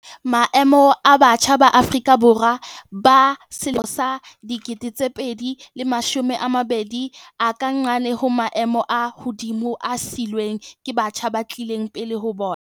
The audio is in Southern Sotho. Maemo a batjha ba Afrika Borwa ba 2020 a ka nqane ho maemo a hodimo a siilweng ke batjha ba tlileng pele ho bona.